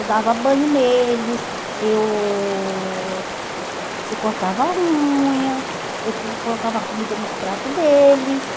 Eu dava banho neles, eu eu cortava a unha, eu com colocava a comida nos pratos deles.